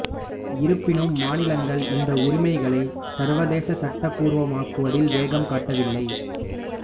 இருப்பினும் மாநிலங்கள் இந்த உரிமைகளை சர்வதேச சட்டப்பூர்வமாக ஆக்குவதில் வேகம் காட்டவில்லை